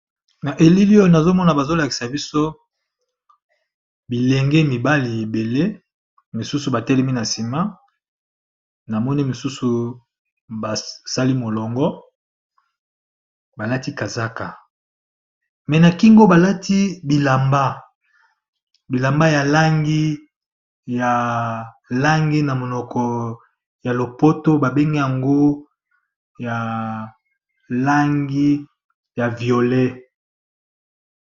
Na elili oyono azomona bazo lakisa biso, bilenge mibali ebele mosusu batelemi na nsima na mone mosusu basali molongo, balati kazaka me na kingo balati bilamba bilamba ya langi ya langi na monoko ya lopoto babengi yango ya langi ya violet.